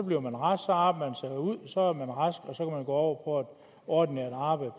bliver man rask så arbejder man sig ud så er man rask og så kan man gå over på ordinært arbejde